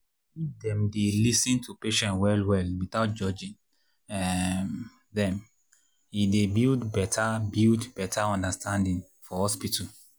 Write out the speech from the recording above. if dem dey lis ten to patients well well without judging um them e dey build better build better understanding for hospital.